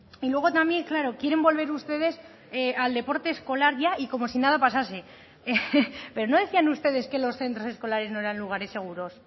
y luego también claro quieren volver ustedes al deporte escolar ya y como si nada pasase pero no decían ustedes que los centros escolares no eran lugares seguros